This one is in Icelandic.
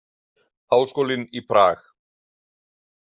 Háskólinn í Prag.